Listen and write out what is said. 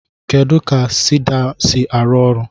Kedu ka siida si arụ ọrụ?